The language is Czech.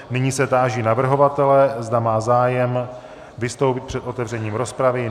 Nyní se táži navrhovatele, zda má zájem vystoupit před otevřením rozpravy.